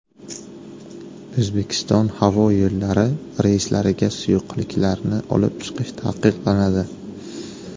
O‘zbekiston havo yo‘llari reyslariga suyuqliklarni olib chiqish taqiqlanadi.